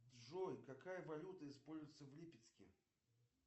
джой какая валюта используется в липецке